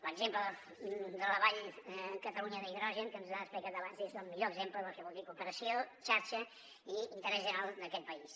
l’exemple de la vall de l’hidrogen de catalunya que ens han explicat abans és el millor exemple del que vol dir cooperació xarxa i interès general d’aquest país